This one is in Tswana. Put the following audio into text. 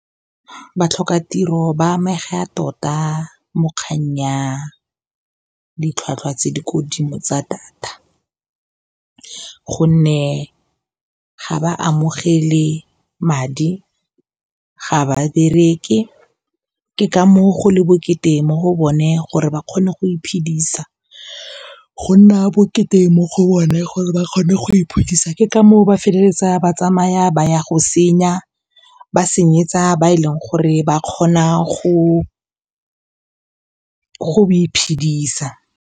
Batlhoka tiro ba amega tota mo kgang ya ditlhwatlhwa tse di kodimo tsa data gonne ga ba amogele madi, ga ba bereke ke ka moo go nna bokete mo go bone gore ba kgone go iphedisa, ke ka moo ba feleletsa ba tsamaya ba ya go senya, ba senyetsa ba e leng gore ba kgona go iphedisa.